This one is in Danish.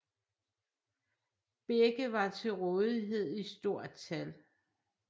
Begge var til rådighed i stort tal